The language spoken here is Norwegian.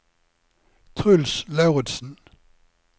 Truls Lauritsen